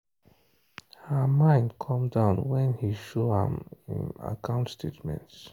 her mind come down when he show am im account statements.